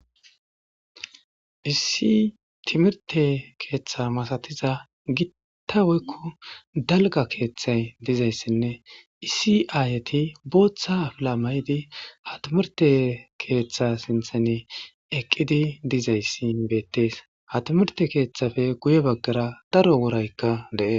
issi timirte keeththa masatiza gitta woykku dalga keeththay dizayssinne isi7aayati booththa afila may7di hatimirte keeththa sinthan eqqidi dizayssi beettees hatimirte keeththafe guye baggara daro woraykka dee